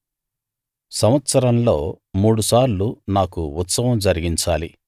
సంవత్సరంలో మూడుసార్లు నాకు ఉత్సవం జరిగించాలి